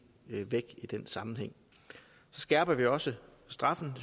væk i den sammenhæng så skærper vi også straffen